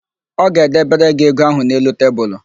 Ọ ga-edebere gị ego ahụ n'elu tebulu.